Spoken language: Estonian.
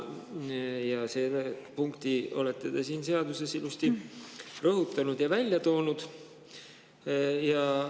Ja seda punkti olete te siin seaduses ilusti rõhutanud ja selle välja toonud.